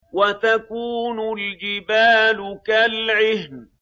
وَتَكُونُ الْجِبَالُ كَالْعِهْنِ